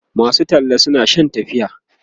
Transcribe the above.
masu talla suna Shan tafiya